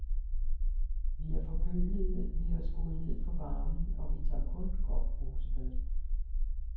Vi er forkølede, vi har skruet ned for varmen og vi tager kun koldt brusebad.